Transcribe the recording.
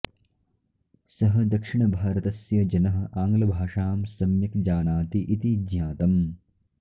सः दक्षिणभारतस्य जनः आङ्ग्लभाषां सम्यक् जानाति इति ज्ञातम्